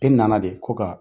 E nana de ko ka